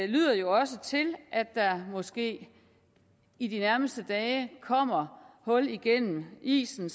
lyder jo også til at der måske i de nærmeste dage kommer hul igennem at isen